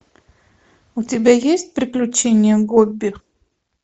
у тебя есть приключения гобби